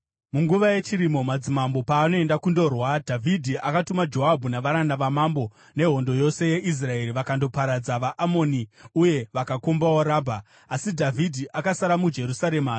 Munguva yechirimo, madzimambo paanoenda kundorwa, Dhavhidhi akatuma Joabhu navaranda vamambo nehondo yose yeIsraeri. Vakandoparadza vaAmoni uye vakakombawo Rabha. Asi Dhavhidhi akasara muJerusarema.